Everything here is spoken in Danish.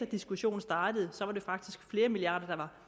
diskussionen startede var det faktisk flere milliarder der